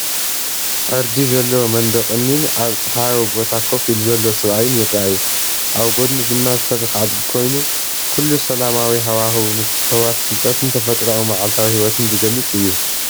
ዕርዲ ዘለዎ መንደቕ እምኒን ኣብ ጸሓያዊ ቦታ ኮፍ ኢሉ ዘሎ ሰብኣይን ይረኣዩ። ኣብ ጎድኑ ድማ ዝሰርሕ ኣድጊ ኮይኑ፡ ኩሉ ሰላማዊ ሃዋህው፡ ምትሕውዋስ ፍልጠትን ተፈጥሮኣዊ መዓልታዊ ህይወትን ዝገልጽ እዩ።